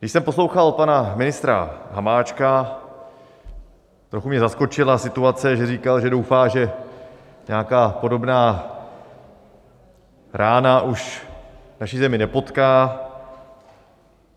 Když jsem poslouchal pana ministra Hamáčka, trochu mě zaskočila situace, že říkal, že doufá, že nějaká podobná rána už naši zemi nepotká.